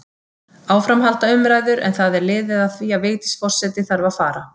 Áfram halda umræður, en það er liðið að því að Vigdís forseti þarf að fara.